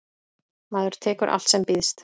Maður tekur allt sem býðst.